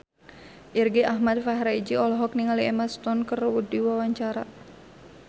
Irgi Ahmad Fahrezi olohok ningali Emma Stone keur diwawancara